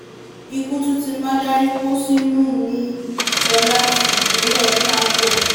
ikú tún ti mádẹ́rìíńpọ̀ṣónù mí-ín lọ láti ìpínlẹ̀ kánko